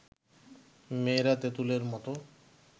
মেয়েরা তেঁতুলের মতো